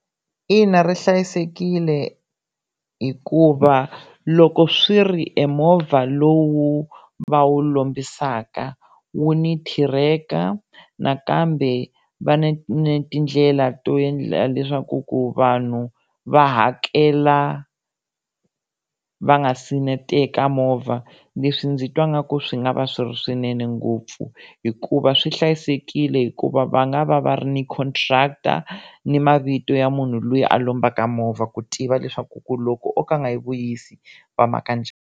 Ina ri hlayisekile hikuva loko swi ri emovha lowu va wu lombisaka wu ni thireka nakambe va na ni tindlela to endlela leswaku ku vanhu va hakela va nga se na teka movha leswi ndzi twa nga ku swi nga va swi ri swinene ngopfu hikuva swi hlayisekile hikuva va nga va va ri ni contractor ni mavito ya munhu loyi a lombaka movha ku tiva leswaku ku loko o ka a nga yi vuyisi va maka njhani.